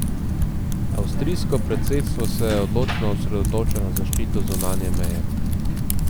Avstrijsko predsedstvo se odločno osredotoča na zaščito zunanje meje.